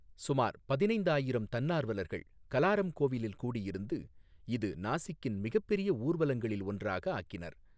சுமார் பதினைந்து ஆயிரம் தன்னார்வலர்கள் கலாரம் கோவிலில் கூடியிருந்து, இது நாசிக்கின் மிகப்பெரிய ஊர்வலங்களில் ஒன்றாக ஆக்கினர்.